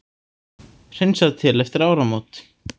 Hreinsað til eftir áramótin